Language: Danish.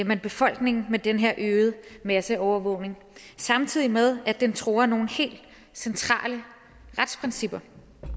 man befolkningen med den her øgede masseovervågning samtidig med at den truer nogle helt centrale retsprincipper